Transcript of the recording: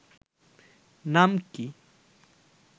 নাম কি